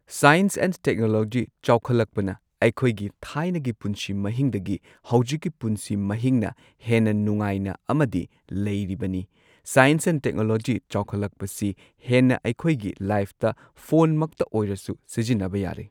Science and technology ꯆꯥꯎꯈꯠꯂꯛꯄꯅ ꯑꯩꯈꯣꯏꯒꯤ ꯊꯥꯏꯅꯒꯤ ꯄꯨꯟꯁꯤ ꯃꯍꯤꯡꯗꯒꯤ ꯍꯧꯖꯤꯛꯀꯤ ꯄꯨꯟꯁꯤ ꯃꯍꯤꯡꯅ ꯍꯦꯟꯅ ꯅꯨꯡꯉꯥꯏꯅ ꯑꯃꯗꯤ ꯂꯩꯔꯤꯕꯅꯤ꯫ ꯁꯥꯏꯟꯁ ꯑꯦꯟ and ꯇꯦꯛꯅꯣꯂꯣꯖꯤ ꯆꯥꯎꯈꯠꯂꯛꯄꯁꯤ ꯍꯦꯟꯅ ꯑꯩꯈꯣꯏꯒꯤ ꯂꯥꯏꯐꯇ ꯐꯣꯟꯃꯛꯇ ꯑꯣꯏꯔꯁꯨ ꯁꯤꯖꯤꯟꯅꯕ ꯌꯥꯔꯦ꯫